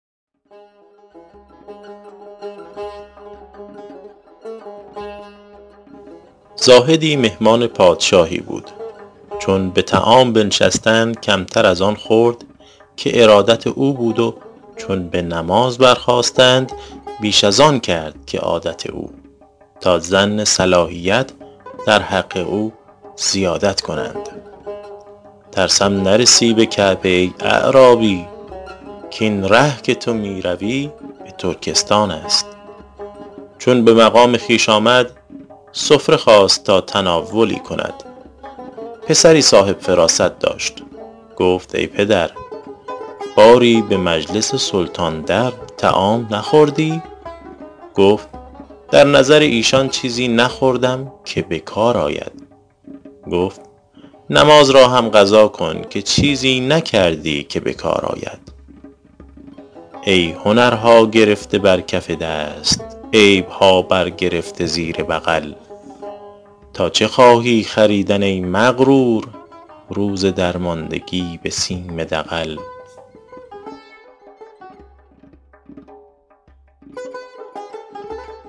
زاهدی مهمان پادشاهی بود چون به طعام بنشستند کمتر از آن خورد که ارادت او بود و چون به نماز برخاستند بیش از آن کرد که عادت او تا ظن صلاحیت در حق او زیادت کنند ترسم نرسی به کعبه ای اعرابی کاین ره که تو می روی به ترکستان است چون به مقام خویش آمد سفره خواست تا تناولی کند پسری صاحب فراست داشت گفت ای پدر باری به مجلس سلطان در طعام نخوردی گفت در نظر ایشان چیزی نخوردم که به کار آید گفت نماز را هم قضا کن که چیزی نکردی که به کار آید ای هنرها گرفته بر کف دست عیبها بر گرفته زیر بغل تا چه خواهی خریدن ای مغرور روز درماندگی به سیم دغل